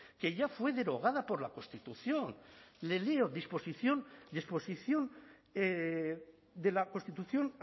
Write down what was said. que ya fue derogada por la constitución le leo disposición disposición de la constitución